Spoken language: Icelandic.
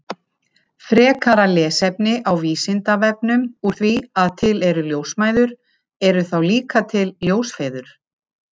Frekara lesefni á Vísindavefnum Úr því að til eru ljósmæður, eru þá líka til ljósfeður?